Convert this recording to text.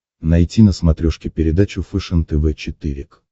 найти на смотрешке передачу фэшен тв четыре к